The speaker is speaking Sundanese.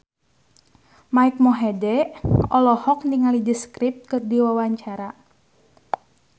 Mike Mohede olohok ningali The Script keur diwawancara